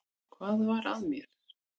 Hvað var að mér?